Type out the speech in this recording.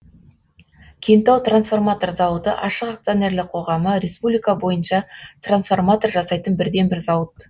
кентау трансформатор зауыты ашық акционерлік қоғамы республика бойынша трансформатор жасайтын бірден бір зауыт